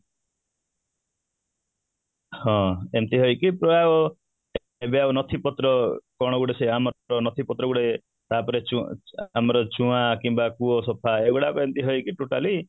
ହଁ, ଏମିତିଆ ହେଇକି ପୁରା ଓ ଯୋଉ ନଥିପତ୍ର କ'ଣ ଗୁଡ଼େ ସଆମର ସେ ନଥିପତ୍ର ଗୁଡ଼େ ତାପରେ ଆମର ଚୁଁଆଁ କିମ୍ବା କୂଅ ସଫା ଏଗୁଡ଼ାକ ଏମିତି ହେଇକି totally